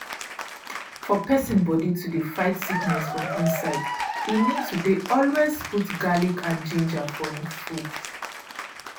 for persin body to dey fight sickness from inside e need to dey always put garlic and ginger for hin food.